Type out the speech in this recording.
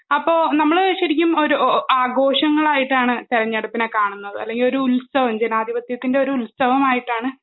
അപ്പോ നമ്മള് ശരിക്കും ഒരു ആഘോഷങ്ങളായിട്ടാണ് തെരഞ്ഞെടുപ്പിനെ കാണുന്നത് അല്ലെങ്കിലൊരു ഉത്സവം ജനാധിപത്യത്തിൻ്റെ ഒരു ഉത്സവമായിട്ടാണ്